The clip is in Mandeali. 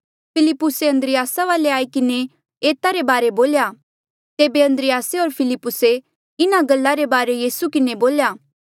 फिलिप्पुसे अन्द्रियासा वाले आई किन्हें एता रे बारे बोल्या तेबे अन्द्रियासे होर फिलिप्पुसे इन्हा गल्ला रे बारे यीसू किन्हें बोल्या